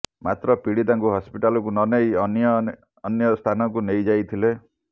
ମାତ୍ର ପୀଡିତାଙ୍କୁ ହସ୍ପିଟାଲକୁ ନନେଇ ଅନ୍ୟ ଅନ୍ୟ ସ୍ଥାନକୁ ନେଇଯାଇଥିଲେ